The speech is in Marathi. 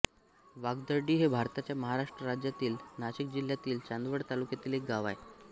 वागदरडी हे भारताच्या महाराष्ट्र राज्यातील नाशिक जिल्ह्यातील चांदवड तालुक्यातील एक गाव आहे